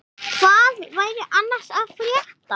Hvað væri annars að frétta?